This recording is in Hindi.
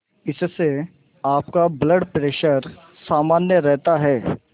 इससे आपका ब्लड प्रेशर सामान्य रहता है